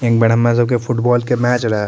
एक बड़ा मजो के फुटबॉल के मैच रहे।